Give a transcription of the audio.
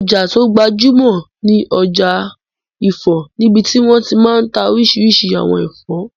Ọjà tó gbajúmọ̀ ni ọjà ifọ̀ níbití wọ́n ti máa n ta oríṣiríṣi àwọn ẹ̀fọ́